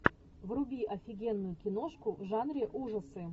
вруби офигенную киношку в жанре ужасы